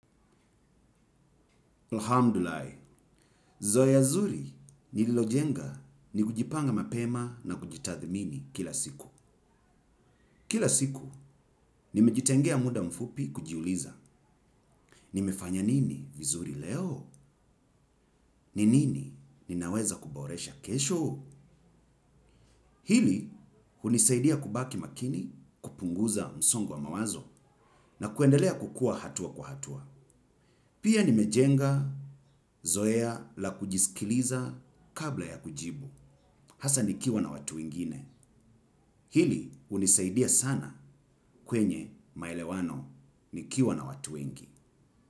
Alhamdulilai. Zoea zuri nililojenga ni kujipanga mapema na kujitathmini kila siku. Kila siku nimejitengea muda mfupi kujiuliza. Nimefanya nini vizuri leo? Ni nini ninaweza kuboresha kesho? Hili hunisaidia kubaki makini, kupunguza msongo wa mawazo na kuendelea kukua hatua kwa hatua. Pia nimejenga zoea la kujisikiliza kabla ya kujibu. Hasa nikiwa na watu wengine. Hili hunisaidia sana kwenye maelewano nikiwa na watu ingi.